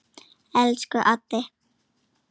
Elsku Addi.